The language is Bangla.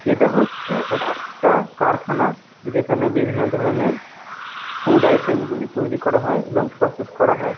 এটা হচ্ছে একটা কারখানা। যেখানে বিভিন্ন ধরনের ফুড আইটেম গুলি তৈরি করা হয় এবং প্রসেস করা হয়।